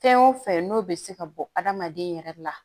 Fɛn o fɛn n'o bɛ se ka bɔ adamaden yɛrɛ la